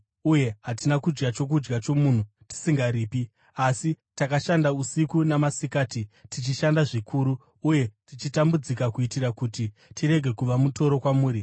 uye hatina kudya chokudya chomunhu tisingaripi. Asi, takashanda usiku namasikati, tichishanda zvikuru uye tichitambudzika kuitira kuti tirege kuva mutoro kwamuri.